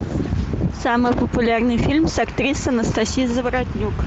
самый популярный фильм с актрисой анастасией заворотнюк